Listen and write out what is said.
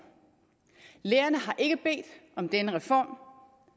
lærerne har ikke bedt om denne reform